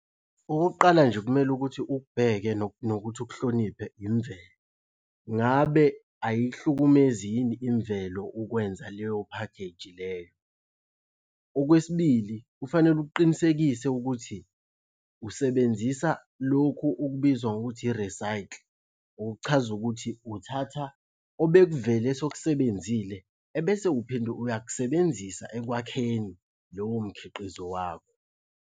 Okokuqala nje okumele ukuthi ukubheke nokuthi ukuhloniphe imvelo. Ngabe ayihlumezi yini imvelo ukwenza leyo phakheji leyo? Okwesibili, kufanele uqinisekise ukuthi usebenzisa lokhu okubizwa ngokuthi i-recycle, okuchaza ukuthi uthatha obekuvele sekubenzile ebese uphinde uyakusebenzisa ekwakheni lowo mkhiqizo wakho.